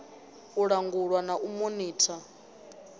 u langulwa na u monitha